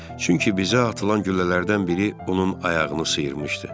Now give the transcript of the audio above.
Çünki bizə atılan güllələrdən biri onun ayağını sıyırmışdı.